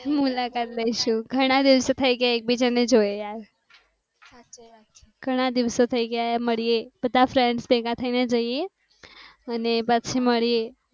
મુલાકાત લઈશુ ઘણા દિવસો થી એકબીજા ને જોયા. ઘણા દિવસો થઈ ગયા મળીએ બધા friends ભેગા થઇ ને જઈએ અને પછી મળીએ